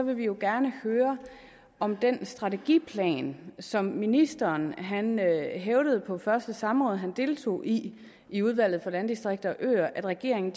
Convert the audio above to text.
vi jo gerne høre om den strategiplan som ministeren hævdede på første samråd han deltog i i udvalget for landdistrikter og øer at regeringen